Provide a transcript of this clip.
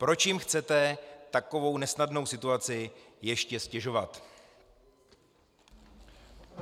Proč jim chcete takovou nesnadnou situaci ještě ztěžovat?